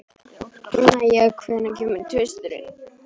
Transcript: Mæja, hvenær kemur tvisturinn?